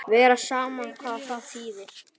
Vera saman, hvað þýðir það?